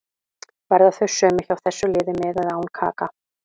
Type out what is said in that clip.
Verða þau sömu hjá þessu liði með eða án Kaka.